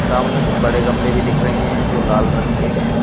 सामने कुछ बड़े गमले भी दिख रहे हैं जो लाल रंग के हैं।